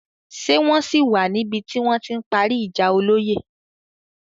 Ṣé wọ́n ṣì wà níbi ti wọ́n ti ń parí ìjà olóyè.